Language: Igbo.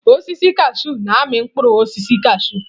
Osisi kashụụ na-amị mkpụrụ osisi kashụụ